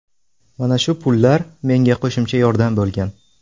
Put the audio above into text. Mana shu pullar menga qo‘shimcha yordam bo‘lgan.